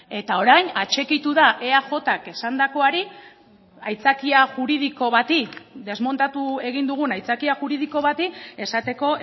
eta orain atxikitu da eajk esandakoari aitzakia juridiko bati desmontatu egin dugun aitzakia juridiko bati esateko